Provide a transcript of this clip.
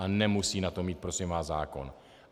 A nemusí na to mít prosím vás zákon.